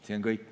See on kõik.